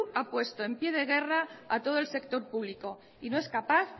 ha puesto en pie de guerra a todo el sector público y no es capaz